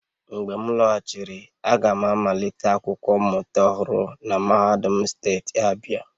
Mgbe m lọghachiri, aga m amalite akwụkwọ mmụta ọhụrụ na mahadum steeti Abia